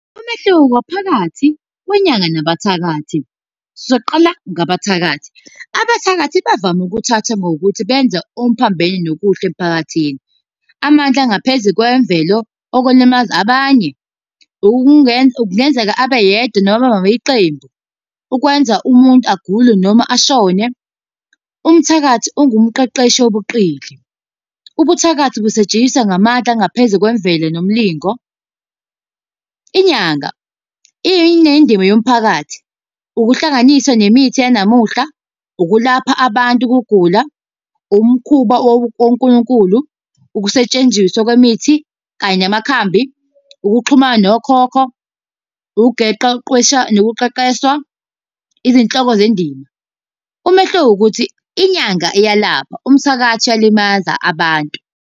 Umehluko phakathi kwenyanga nabathakathi, soqala ngabathakathi. Abathakathi bavame ukuthatha ngokuthi benza okuphambene nokuhle emphakathini, amandla engaphezu kwemvelo okulimaza abanye. Kungenzeka abe yedwa noma bebe yiqembu ukwenza umuntu agule noma ashone. Umthakathi ungumqeqeshi wobuqili. Ubuthakathi busetshenziswa ngamandla angaphezu kwemvelo nomlingo. Inyanga, iyenye indima yomphakathi. Ukuhlanganiswa nemithi yanamuhla, ukulapha abantu ukugula, umkhuba woNkulunkulu, ukusetshenziswa kwemithi kanye namakhambi, ukuxhumana nokhokho, nokuqeqeshwa. Izinhloko zendima. Umehluko ukuthi, inyanga iyalapha, umthakathi uyalimaza abantu.